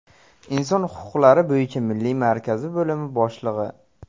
Inson huquqlari bo‘yicha milliy markazi bo‘lim boshlig‘i.